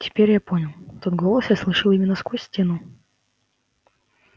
теперь я понял тот голос я слышал именно сквозь стену